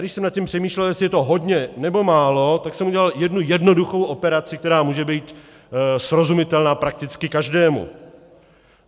Když jsem nad tím přemýšlel, jestli je to hodně, nebo málo, tak jsem udělal jednu jednoduchou operaci, která může být srozumitelná prakticky každému.